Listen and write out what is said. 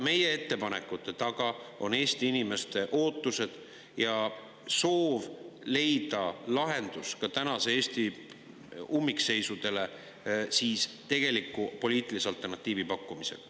Meie ettepanekute taga on ka Eesti inimeste ootused ja soov leida lahendus tänase Eesti ummikseisudele tegeliku poliitilise alternatiivi pakkumisega.